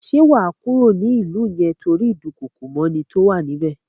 Ṣé wà á kúrò ní ìlú yẹn tórí ìdúkookòmọ́ni tó wà ní bẹ̀?